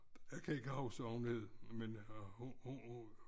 Jeg kan ikke huske hvad hun hed men øh hun hun